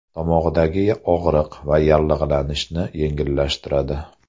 Tomoqdagi og‘riq va yallig‘lanishni yengillashtiradi.